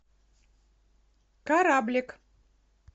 кораблик